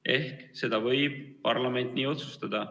Ehk seda võib parlament nii otsustada.